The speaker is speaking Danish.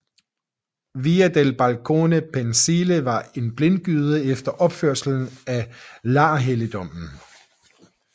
Via del Balcone Pensile var en blindgyde efter opførelsen af larhelligdommen